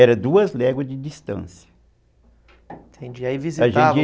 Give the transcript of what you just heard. Eram duas léguas de distância. Entendi, aí visitavam